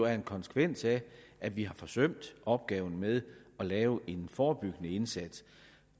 en konsekvens af at vi har forsømt opgaven med at lave en forebyggende indsats